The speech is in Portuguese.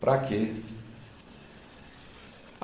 Para quê?